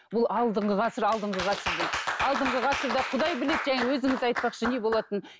бұл алдыңғы ғасыр алдыңғы ғасыр дейді алдыңғы ғасырда құдай біледі жаңағы өзіңіз айтпақшы не болатынын